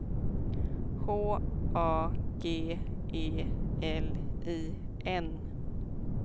H A G E L I N